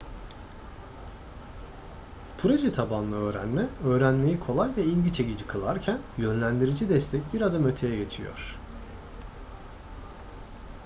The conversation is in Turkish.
proje tabanlı öğrenme öğrenmeyi kolay ve ilgi çekici kılarken yönlendirici destek bir adım öteye geçiyor